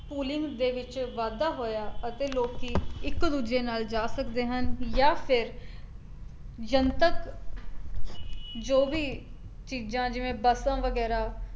ਪੁਲਿੰਗ ਦੇ ਵਿੱਚ ਵਾਧਾ ਹੋਇਆ ਅਤੇ ਲੋਕੀ ਇੱਕ ਦੂਜੇ ਨਾਲ ਜਾ ਸਕਦੇ ਹਨ ਜਾਂ ਫਿਰ ਜਨਤਕ ਜੋ ਵੀ ਚੀਜ਼ਾਂ ਜਿਵੇਂ ਬੱਸਾਂ ਵਗੈਰਾ